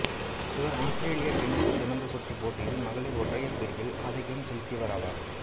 இவர் ஆஸ்திரேலிய டென்னிசு திறந்த சுற்றுப் போட்டியில் மகளிர் ஒற்றையர் பிரிவில் ஆதிக்கம் செலுத்தியவர் ஆவார்